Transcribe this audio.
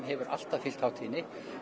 hefur alltaf fylgt hátíðinni